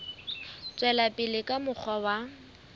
tswela pele ka mokgwa wa